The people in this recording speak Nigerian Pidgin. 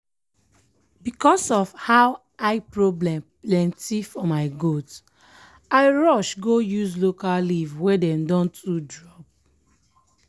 because of how eye problem plenty for my goat i rush go use local leaf wey dem don to drop.